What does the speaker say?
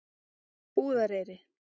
Búðareyri